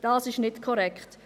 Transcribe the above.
Dies ist nicht korrekt.